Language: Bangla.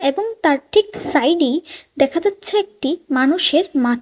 এবং তার ঠিক সাইডেই দেখা যাচ্ছে একটি মানুষের মাথ--